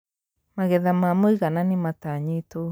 Magetha ma mũigana nĩmatanyĩtwo